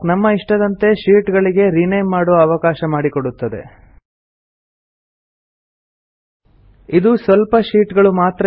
ಇದು ಸ್ವಲ್ಪ ಶೀಟ್ ಗಳು ಮಾತ್ರ ಇರುವ ಒಂದು ಸಣ್ಣ ಸ್ಪ್ರೆಡ್ ಶೀಟ್ ನಲ್ಲಿ ಮಾತ್ರ ಕಾರ್ಯ ನಿರ್ವಹಿಸುತ್ತದೆ